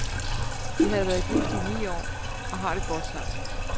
De har været gift i ni år og har det godt sammen.